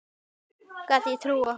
Gat ég trúað honum?